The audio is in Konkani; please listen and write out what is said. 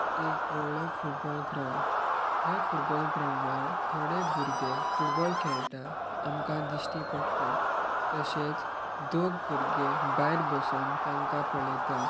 एक व्हडलो फुटबॉल ग्राउंड ह्या फुटबॉल ग्राउंडार थोडे भुरगे फुटबॉल खेळटा ते आमका दिश्टी पडटा तशेच दोघ भुरगे भायर बसोन तांका पळेता.